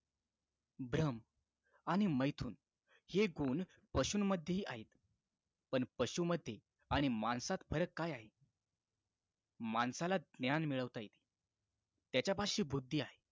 भ्रम आणि मैथुन हे गुण पासून मध्ये आहेत पण पशु मध्ये आणि माणसात फरक काय आहे माणसाला ज्ञान मिळवता येते त्याच्यापाशी बुद्धी आहे